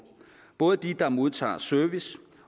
både til dem der modtager service